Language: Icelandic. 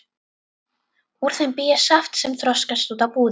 Úr þeim bý ég saft sem þroskast út á búðing.